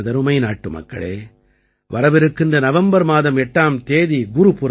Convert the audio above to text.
நாட்டுமக்களே வரவிருக்கின்ற நவம்பர் மாதம் 8ஆம் தேதி குருபுரப் ஆகும்